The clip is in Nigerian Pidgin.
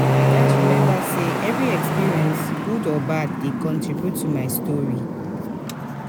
i gats remember say every experience good or bad dey contribute to my story.